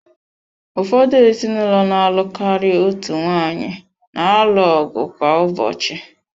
Ụfọdụ ezinụlọ na-alụ karịa otu nwaanyị na-alụ ọgụ kwa ụbọchị.